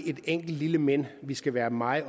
et enkelt lille men vi skal være meget